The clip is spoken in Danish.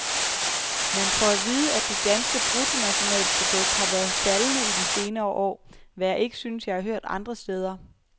Man får at vide, at det danske bruttonationalprodukt har været faldende i de senere år, hvad jeg ikke synes, jeg har hørt andre steder.